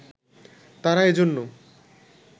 তারা এজন্য